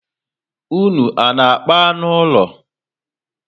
Ụnụ ana akpa anụ úlọ?